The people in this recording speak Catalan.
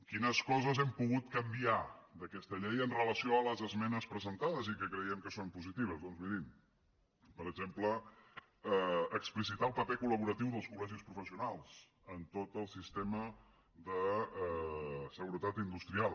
quines coses hem pogut canviar d’aquesta llei amb relació a les esmenes presentades i que creiem que són positives doncs mirin per exemple explicitar el paper col·laborador dels colsistema de seguretat industrial